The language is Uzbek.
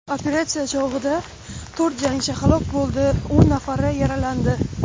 Operatsiya chog‘ida to‘rt jangchi halok bo‘ldi, o‘n nafari yaralandi.